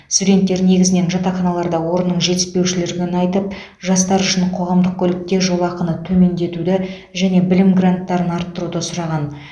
студенттер негізінен жатақханаларда орынның жетіспеушілігін айтып жастар үшін қоғамдық көлікте жолақыны төмендетуді және білім гранттарын арттыруды сұраған